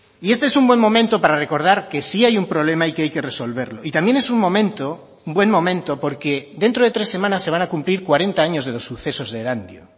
y este es un buen momento para recordar que sí hay un problema y que hay que resolverlo y también es un momento buen momento porque dentro de tres semanas se van a cumplir cuarenta años de los sucesos de erandio